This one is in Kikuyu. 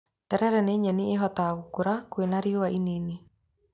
Terere nĩ nyeni ĩhotaga gũkũra kwĩna riũa rinini.